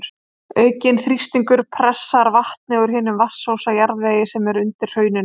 Aukinn þrýstingur pressar vatnið úr hinum vatnsósa jarðvegi sem er undir hrauninu.